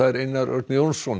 Einar Örn Jónsson